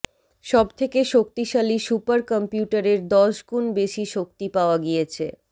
সবথেকে শক্তিশালী সুপারকম্পিউটারের দশ গুণ বেশি শক্তি পাওয়া গিয়েছে